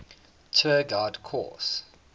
tour guide course